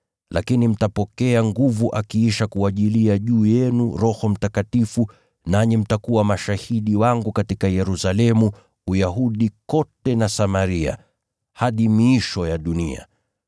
Lakini mtapokea nguvu akiisha kuwajilia juu yenu Roho Mtakatifu, nanyi mtakuwa mashahidi wangu katika Yerusalemu, Uyahudi kote na Samaria, hadi miisho ya dunia.”